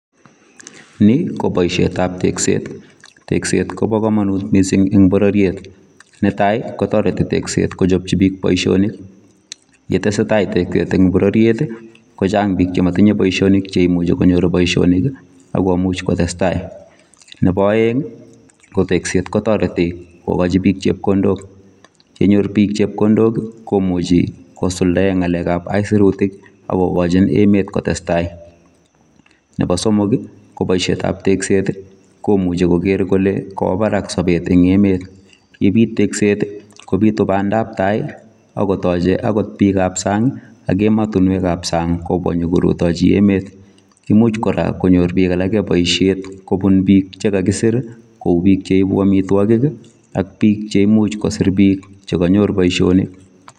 Ni ii kobaisheet ab tekseet , tekseet kobaa kamanuut eng borororiet netai kotaretii tekseet kochapchii biik boisionik ye tesetai tekseet eng borororiet ii chaang biik en bororiet che maimuchei konyoor boisiet akomuuch kotareteen kei tektet kotaretii agomuuch konyoor biik chepkondook yenyor biik chepkondook komuchei kosuldaen ngalek ab aisirutiik ako kachiin emet kotesetai nebo somok ii ko boisiet ab tekseet komuchei koger kole kawaa baraak sabet eng emet ye biit tekseet ii kobituu bandap tai akoot biik ab saang ak ematinweek ab saang kobwaa inyoko rutajii emet imuuch kora konyoor biik alaak boisiet kobuun biik che kakisiir ko uu biik che ibuu amitwagiik ii ak biik che imuuch kosiir biik che kanyoor boisionik